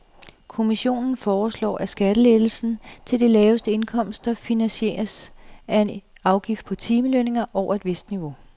Kommissionen foreslår, at skattelettelsen til de laveste indkomster finansieres af en afgift på timelønninger over et vist niveau.